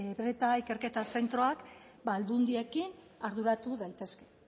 brta ikerketa zentroak aldundiekin arduratu daitezke